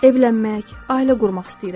Evlənmək, ailə qurmaq istəyirəm.